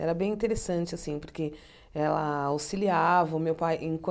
Era bem interessante assim, porque ela auxiliava o meu pai